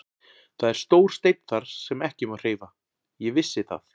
Það er stór steinn þar sem ekki má hreyfa, ég vissi það.